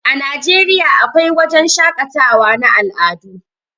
A Nigeriya a kwai wajan shaƙatawan na al'adu